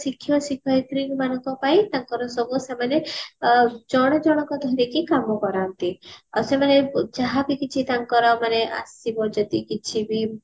ଶିକ୍ଷକ ଶିକ୍ଷୟତ୍ରୀ ମାନଙ୍କ ପାଇଁ ତାଙ୍କର ସବୁ ସେମାନେ ଅ ଜଣ ଜଣଙ୍କୁ ଧରିକି କାମ କରାନ୍ତି ଆଉ ସେମାନେ ଯାହାବି କି କିଛି ତାଙ୍କର ମାନେ ଆସିବ ଯଦି କିଛି ବି